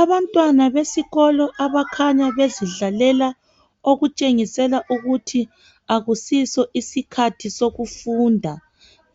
Abantwana besikolo abakhanya bezidlalela okutshengisela ukuthi akusiso isikhathi sokufunda.